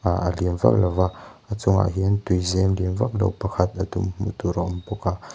ah liam vak lova a chungah hian tui zem lian vak lo pakhat a tum hmuh tur a awm bawk a.